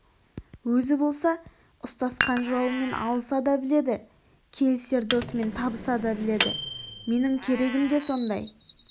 өзі болса ұстасқан жауымен алыса да біледі келісер досымен табыса да біледі менің керегім де сондай